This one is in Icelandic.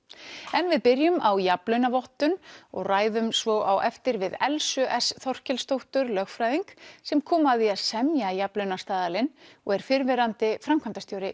en við byrjum á jafnlaunavottun og ræðum svo á eftir við Elsu s Þorkelsdóttur lögfræðing sem kom að því að semja jafnlaunastaðalinn og er fyrrverandi framkvæmdastjóri